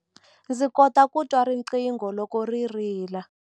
Ndzi kota ku twa riqingho loko ri rila.